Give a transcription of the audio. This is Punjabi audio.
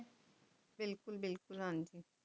ਬਿਲਕੁਲ ਬਿਲਕੁਲ ਹਾਂਜੀ